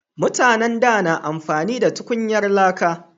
Mutanen da na amfani da tukunyar laka